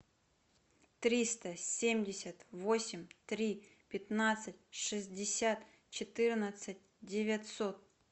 триста семьдесят восемь три пятнадцать шестьдесят четырнадцать девятьсот